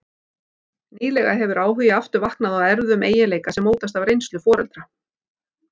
Nýlega hefur áhugi aftur vaknað á erfðum eiginleika sem mótast af reynslu foreldra.